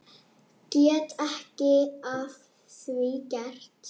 Get ekki að því gert.